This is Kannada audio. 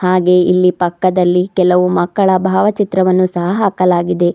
ಹಾಗೆ ಇಲ್ಲಿ ಪಕ್ಕದಲ್ಲಿ ಕೆಲವು ಮಕ್ಕಳ ಭಾವಚಿತ್ರವನ್ನು ಸಹ ಹಾಕಲಾಗಿದೆ.